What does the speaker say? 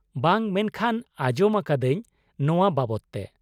ᱵᱟᱝ ᱢᱮᱱᱠᱷᱟᱱ ᱟᱸᱡᱚᱢ ᱟ.ᱠᱟ.ᱫᱟ.ᱧ ᱱᱚᱶᱟ ᱵᱟᱵᱚᱫ ᱛᱮ ᱾